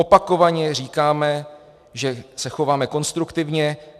Opakovaně říkáme, že se chováme konstruktivně.